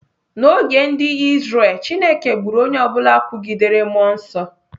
N'oge ndị Izrel, Chineke gburu onye ọ bụla kwugidere mmụọ nsọ.